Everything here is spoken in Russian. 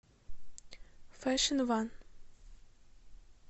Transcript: фэшн ван